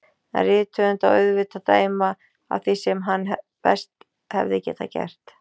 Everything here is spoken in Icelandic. En rithöfund á auðvitað að dæma af því sem hann best hefði getað gert.